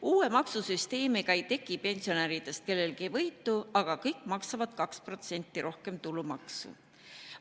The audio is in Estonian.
Uue maksusüsteemi korral ei teki pensionäridest kellelgi võitu, aga kõik maksavad 2% rohkem tulumaksu.